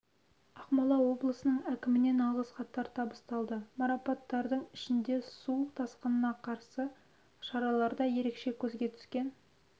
ақмола облысының әкімінен алғыс хаттар табысталды марапатталғандардың ішінде су тасқынына қарсы шараларда ерекше көзге түскен